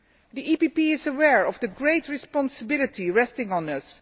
The EPP is aware of the great responsibility resting on us.